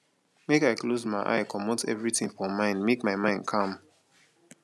make i close my eye comot everytin for mind make my mind calm